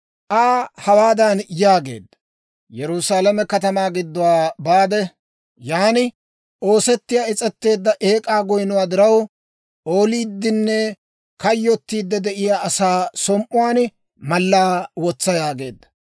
Aa hawaadan yaageedda; «Yerusaalame katamaa gidduwaa baade, yaan oosettiyaa is's'eteedda eek'aa goynnuwaa diraw, ooliiddinne kayyottiide de'iyaa asaa som"uwaan mallaa wotsa» yaageedda.